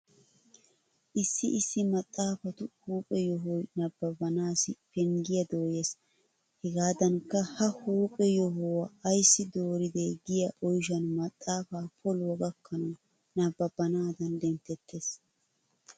Issi issi maxaafatu huuphe yohoy nabbanaasssi penggiya dooyees. Hegaadankka ha huuphe yohuwa ayssi dooridee giya oyshan maxaafaa poluwa gakkanawu nabbabanaada denttettees.